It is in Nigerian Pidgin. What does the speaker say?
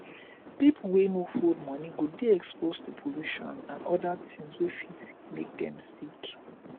pipo wey no hold money go dey exposed to pollution and oda things wey fit make dem sick